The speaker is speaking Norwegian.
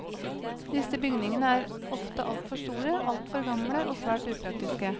Disse bygningene er ofte altfor store, altfor gamle og svært upraktiske.